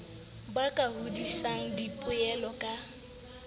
ba ka hodisang dipoelo ka